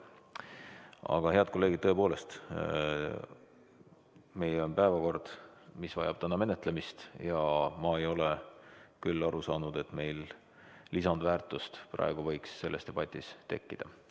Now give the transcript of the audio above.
Aga, head kolleegid, tõepoolest, meil on päevakord, mis vajab täna menetlemist, ja ma ei ole küll aru saanud, et meil võiks praegu lisandväärtust selles debatis tekkida.